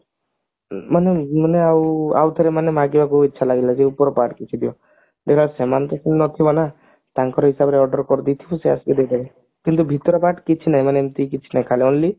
ମାନେ ମାନେ ଆଉ ଆଉ ଥରେ ମାନେ ମାଗିବାକୁ ଇଚ୍ଛା ଲାଗିଲା ଯେ ଉପର part କିଛି ଦିଅ ଦେଖିଲାବେଳୁ ସେମାନେ ପୁଣି ନଥିବ ନା ତାଙ୍କର ହିସାବରେ order କରିଦେଇଥିବୁ ସେ ଆସିକି ଦେଇଦେବେ କିନ୍ତୁ ଭିତର part କିଛି ନାଇଁ ମାନେ ଏମତି କିଛି ନାଇଁ only